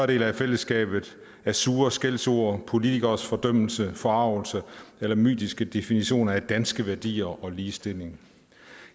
del af fællesskabet af sure skældsord politikeres fordømmelse forargelse eller mytiske definitioner af danske værdier og ligestilling